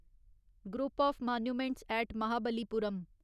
group of monuments at Mahabalipuram